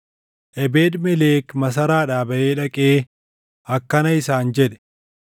Ebeed-Melek masaraadhaa baʼee dhaqee akkana isaan jedhe;